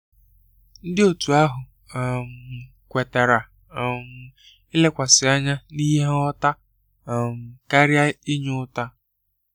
Ndi Otu ahụ um kwetara um ilekwasị anya n'ihe ngwọta um karia inye ụta.